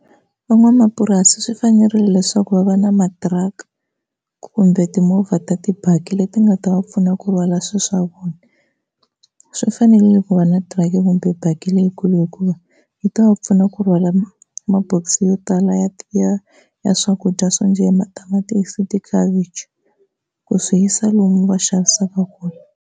Van'wamapurasi swi fanerile leswaku va va na matiraka kumbe timovha ta tibaki leti nga ta va pfuna ku rhwala swilo swa vona. Swi fanerile ku va na tiraka kumbe baki leyikulu hikuva yi ta va pfuna ku rhwala mabokisi yo tala ya ya ya swakudya swo njhe hi matamatisi, tikhavichi ku swi yisa lomu va xavisaka kona.